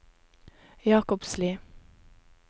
Jakobsli